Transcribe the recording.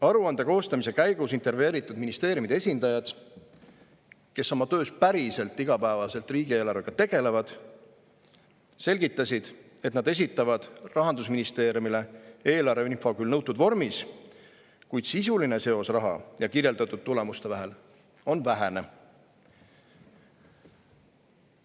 Aruande koostamise käigus intervjueeritud ministeeriumide esindajad, kes päriselt oma töös iga päev riigieelarvega tegelevad, selgitasid, et nad esitavad Rahandusministeeriumile eelarveinfo küll nõutud vormis, kuid sisuline seos raha ja kirjeldatud tulemuste vahel on vähene.